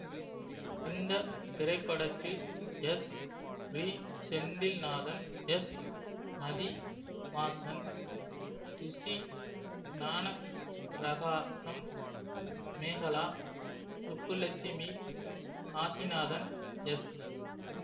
இந்த திரைப்படத்தில் Sri Senthilnathan S Mathivasan Thushi Gnanaprakasam Mekala Subbulakshmi Kasinathan S